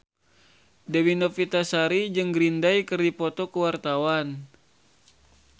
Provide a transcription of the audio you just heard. Dewi Novitasari jeung Green Day keur dipoto ku wartawan